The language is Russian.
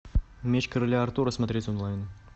меч короля артура смотреть онлайн